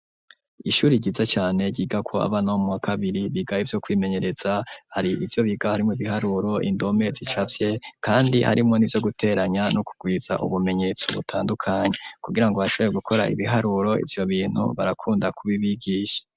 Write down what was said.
Ishuri ryiza cane ryigako abana bo muwa kabiri biga ivyo kwimenyereza hari ivyo biga harimwo ibiharuro indome zicafye kandi harimwo nivyo guteranya no kurwiza ubumenyetso butandukanye kugirango bashoboye gukora ibiharuro ivyo bintu barakunda kubibigisha.